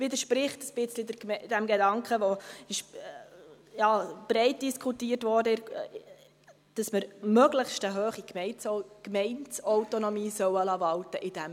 Dies widerspricht ein wenig dem Gedanken, welcher breit diskutiert wurde, dass man in diesem Bereich eine möglichst hohe Gemeindeautonomie walten lassen soll.